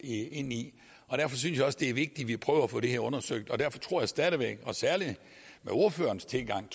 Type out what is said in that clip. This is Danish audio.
i og derfor synes jeg også det er vigtigt at vi prøver at få det her undersøgt og derfor tror jeg stadig væk at vi og særlig med ordførerens tilgang